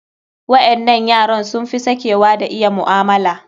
Waƴannan yaran sun fi sakewa da iya mu'amala.